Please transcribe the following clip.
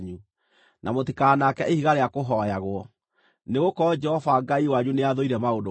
na mũtikanaake ihiga rĩa kũhooyagwo, nĩgũkorwo Jehova Ngai wanyu nĩathũire maũndũ macio.